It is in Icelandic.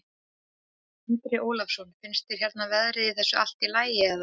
Andri Ólafsson: Finnst þér hérna verðin á þessu allt í lagi eða?